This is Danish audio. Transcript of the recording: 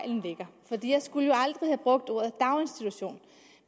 og det er skulle jo aldrig have brugt ordet daginstitution